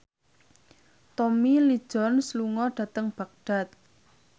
Tommy Lee Jones lunga dhateng Baghdad